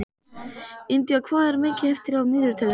Indía, hvað er mikið eftir af niðurteljaranum?